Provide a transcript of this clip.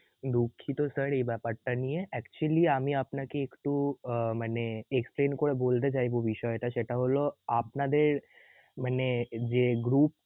দুঃখিত sir এই বেপার টা নিয়ে actually আমি আপনাকে একটু অ~মানে explain করে বলতে চাইব বিষয়টা সেটা হল আপনাদের মানে যে group